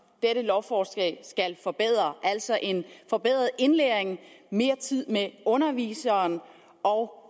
dette lovforslag skal forbedre altså en forbedret indlæring mere tid med underviseren og